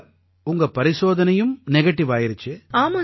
இப்ப உங்க பரிசோதனையும் நெகடிவாயிருச்சு